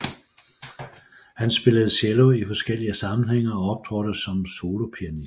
Han spillede cello i forskellige sammenhænge og optrådte som solopianist